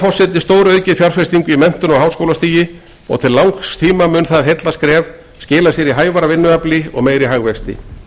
við stóraukið fjárfestingu í menntun á háskólastigi og til langs tíma mun það heillaskref skila sér í hæfara vinnuafli og meiri hagvexti